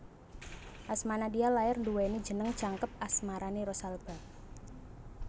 Asma Nadia lair nduweni jeneng jangkep Asmarani Rosalba